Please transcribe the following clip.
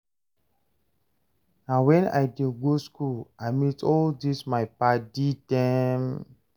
Na wen I dey go skool I meet all dis my paddy dem.